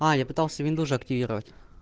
я пытался винду же активировать